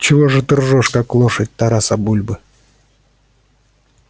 чего же ты ржёшь как лошадь тараса бульбы